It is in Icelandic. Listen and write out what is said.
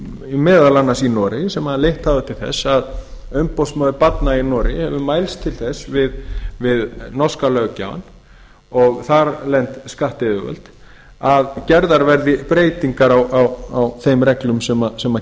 meðal annars í noregi sem leitt hafa til þess að umboðsmaður barna í noregi hefur mælst til þess við norska löggjafann og þarlend skattyfirvöld að gerðar verði breytingar á þeim reglum sem